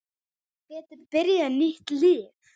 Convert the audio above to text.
Geti byrjað nýtt líf.